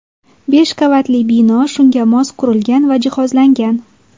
Besh qavatli bino shunga mos qurilgan va jihozlangan.